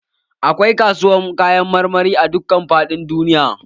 Akwai kasuwar Kayan marmari a dukka faɗin duniya.